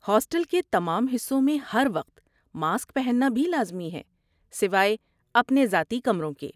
Hostel کے تمام حصوں میں ہر وقت ماسک پہننا بھی لازمی ہے، سوائے اپنے ذاتی کمروں کے۔